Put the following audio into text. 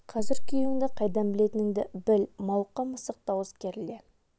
қазір күйеуіңді қайдан білетініңді біл мауыққан мысық дауыс керіле